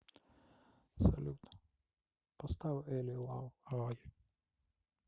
салют поставь эли лав эй